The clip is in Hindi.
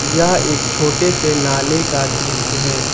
यह एक छोटे से नाले का दृश्य है।